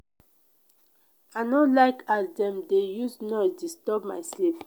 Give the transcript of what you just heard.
i no like as dem dey use noise disturb my sleep.